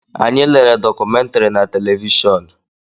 Anyị lere dọkumentiri na televishọọnu.